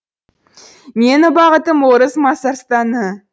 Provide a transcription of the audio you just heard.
менің бағытым орыс мазарстаны